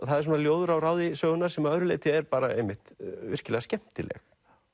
það er svona ljóður á ráði sögunnar sem að öðru leyti er virkilega skemmtileg